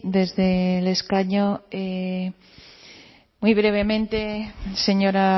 desde el escaño muy brevemente señora